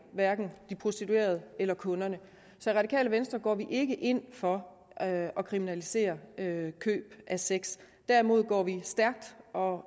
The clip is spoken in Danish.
de prostituerede eller kunderne så i radikale venstre går vi ikke ind for at kriminalisere køb af sex derimod går vi stærkt og